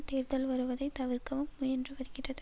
தேர்தல் வருவதைத் தவிர்க்கவும் முயன்று வருகிறது